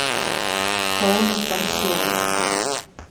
полный пансион